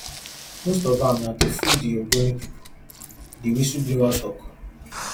most of am na to fool di ogoni pipo di whistleblower tok